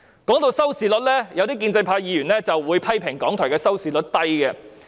談到收視率，有建制派議員批評港台節目收視率低。